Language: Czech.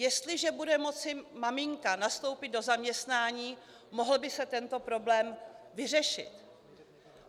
Jestliže bude moci maminka nastoupit do zaměstnání, mohl by se tento problém vyřešit.